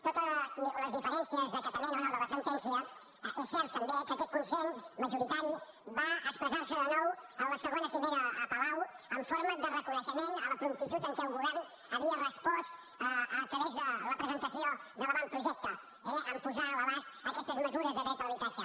tot i les diferències d’acatament o no de la sentència és cert també que aquest consens majoritari va expressar se de nou a la segona cimera a palau en forma de reconeixement a la promptitud amb què el govern havia respòs a través de la presentació de l’avantprojecte eh en posar a l’abast aquestes mesures de dret a l’habitatge